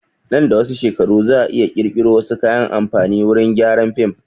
Nan da wasu shekaru za a iya ƙirƙiro wasu kayan amfani wurin gyaran film